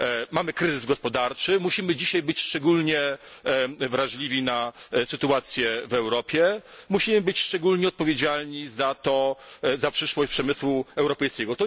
Mamy kryzys gospodarczy, musimy dzisiaj być szczególnie wrażliwi na sytuację w Europie, musimy być szczególnie odpowiedzialni za przyszłość przemysłu europejskiego.